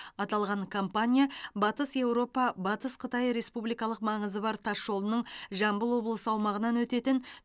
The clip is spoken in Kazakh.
аталған компания батыс еуропа батыс қытай республикалық маңызы бар тас жолының жамбыл облысы аумағынан өтетін